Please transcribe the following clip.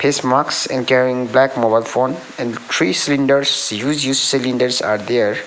face mask and carrying black mobile phone and three cylinders used used cylinders are there.